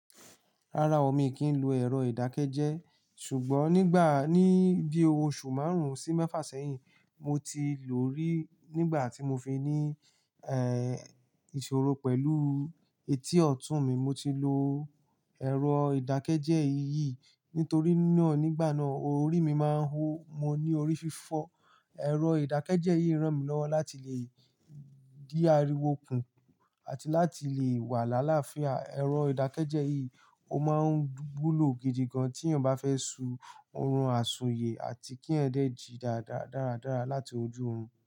Rárá o, mi kì n lo èrò ìdákẹ́jẹ́, ṣùgbọ́n nígbà ní bí oṣù márùn-ún sí mẹ́fà sẹ́yìn, mo ti lò ó rí. Nígbà tí mo fi ní ẹ́ ìṣòro pẹ̀lú etí ọ̀tún mi, mo ti lo èrò ìdákẹ́jẹ́ yìí. Nítorí náà, nígbà náà, orí mi máa ń hó, mo ní orí fífọ́. Èrò ìdákẹ́jẹ́ yìí ràn mí lọ́wọ́ láti lè di ariwo kùn àti láti lè wà lálafíà. Èrò ìdákẹ́jẹ́ yìí, ó máa ń wúlò gidi gan tí ènìyàn bá fẹ́ su ọrùn àsùnyẹ̀ àti kí eyan de jí dáradára láti ojú oòrun.